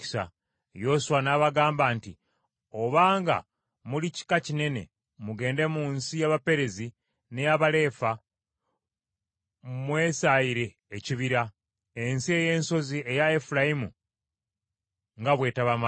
Yoswa n’abagamba nti, “Obanga muli kika kinene mugende mu nsi y’Abaperezi n’ey’Abalefa mwesaayire ekibira, ensi ey’ensozi eya Efulayimu nga bwe tebamala.”